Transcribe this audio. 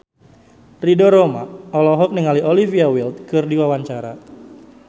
Ridho Roma olohok ningali Olivia Wilde keur diwawancara